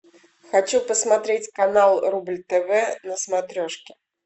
хочу посмотреть канал рубль тв на смотрешке